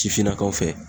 Sifinnakaw fɛ